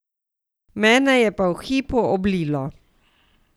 Mene je pa v hipu oblilo.